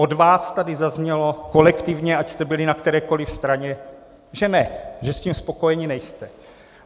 Od vás tady zaznělo, kolektivně, ať jste byli na kterékoliv straně, že ne, že s tím spokojeni nejste.